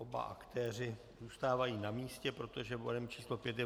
Oba aktéři zůstávají na místě, protože bodem číslo 5 je